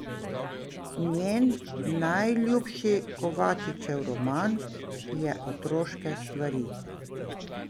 Njen najljubši Kovačičev roman je Otroške stvari.